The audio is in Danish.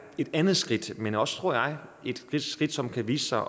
et andet skridt men også tror jeg et skridt som kan vise sig